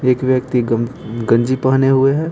एक व्यक्ति गं गंजी पहने हुए हैं।